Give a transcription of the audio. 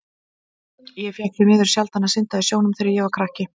Ég fékk því miður sjaldan að synda í sjónum þegar ég var krakki.